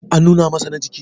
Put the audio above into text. an nuna masa na jiki?